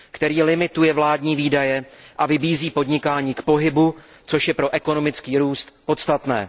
Který limituje vládní výdaje a vybízí podnikání k pohybu, což je pro ekonomický růst podstatné.